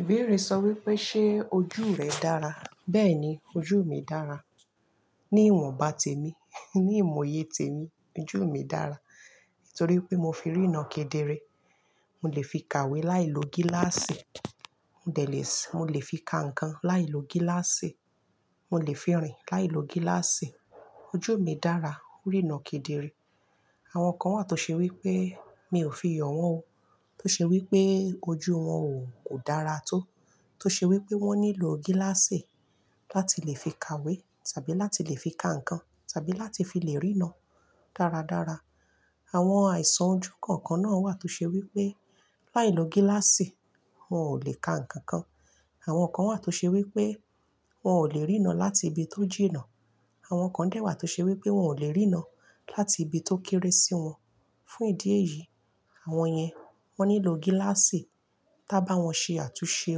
Ìbéèrè sọ wípé ṣe ojú rẹ dára. Bẹ́ẹ̀ni ojú mi dára. Ní ìwọ̀n bá tèmi, ní ìmọye tèmi ojú mi dára. Nítorí pé mo fi rína kedere. Mo lè fi kàwé láìlo gíláàsì. Mo lè fi ka ǹkan láìlo gíláàsì. Mo lè fi rìn láìlo gíláàsì. Ojú mi dára o rína kedere. Àwọn kan wà tó ṣe wípé mi ò fi yàn wón o. Tó ṣe wípé ojú wón o kò dára tó. Tó ṣe wípé wón nílò gíláàsì láti lè fi kàwé tàbí láti lè fi ka ǹkan tàbí láti fi lè rína dáradára. Àwọn àìsàn ojú kọ̀ọ̀kan náà wà tó ṣe wípé láìlo gíláàsì wọn ò lè ka ǹkan kan. Àwọn kan wà tó ṣe wípé wọn ò lè rína láti ibi tó jìna. Àwọn kan dẹ́ wà tó ṣe wípé wọn ò lè rína láti ibi tó kéré sí wọn. Fún ìdí èyí àwọn yẹn wón nílò gíláàsì tá bá wọn ṣe àtúnṣe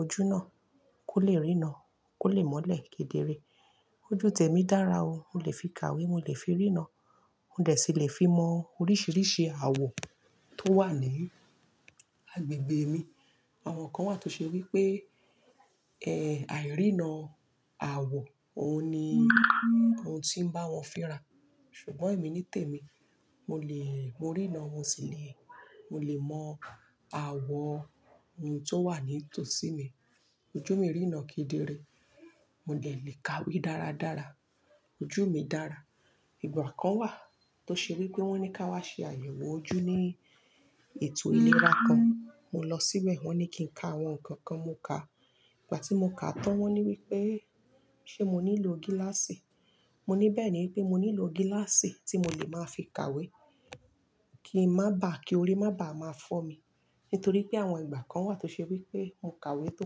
ojú náà kó lè rína kó lè mọ́lẹ̀ kedere. Ojú tèmi dára o, mo lè fi kàwé, mo lè fi rína, mo dẹ̀ si lè fi mọ oríṣiríṣi àwọ̀ tó wà ní agbègbè mi. Àwọn kan wà tó ṣe wípé, ẹ́ àìrína àwọ̀ òun ni òun ti ń bá wọn fira. Ṣùgbọ́n èmi nítèmi. Mo lè, mo rína wọn sì lè. Mo lè mọ àwọ̀ ohun tó wà ní tòsí mi. Ojú mi rína kedere. Mo dẹ̀ lè kàwé dáradára. Ojú mi dára. Ìgbà kan wà tó ṣe wípé wón ní ká wá ṣe àyẹ̀wò ojú ní ètò ìlera kan. Mo lọ síbẹ̀ wón ní kí n ka àwọn ǹkan kan, mo kà. Ìgbà tí mo kà tán wón ní wípé ṣe mo nílò gíláàsì. Mo ní bẹ́ẹ̀ni pé mo nílò gíláàsì tí mo lè máa fi kàwé kíi mọ́ bá, kí orí má bá máa fọ́ mi. Nítorí pé àwọn ìgbà kan wà tó ṣe wípé mo kàwé tó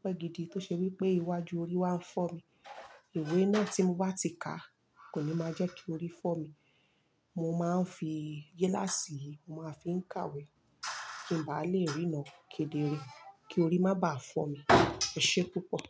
pẹ́ gidi tó ṣe wípé iwájú orí wá ń fọ́ mi. Ìwé náà tí mo bá ti ka kò ní máa jẹ́ kí orí fọ́ mi. Mo máa ń fi gíláàsì yìí mo máa fi ń kàwé kí ń bá lè rína kedere kí orí má báà fọ́ mi. Ẹ ṣe púpọ̀.